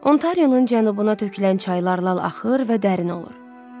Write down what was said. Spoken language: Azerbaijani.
Ontarionun cənubuna tökülən çaylar lal axır və dərin olur.